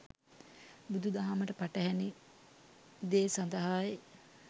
බුදු දහමට පටහෑනි දේ සදහායි